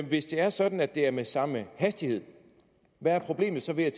hvis det er sådan at det er med samme hastighed hvad er problemet så ved at